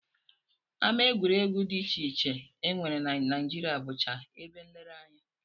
Ama egwuregwu dị iche iche e nwere na Naijiria bụcha ebe nlereanya